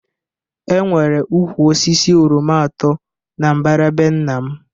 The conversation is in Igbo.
E nwere ụkwụ osisi oroma atọ na-mbara be nna m